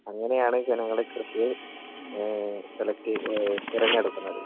അങ്ങനെയാണ് ജനങ്ങള് കൃഷി എ സെലക്ട് ഏ തിരഞ്ഞെടുക്കുന്നത്.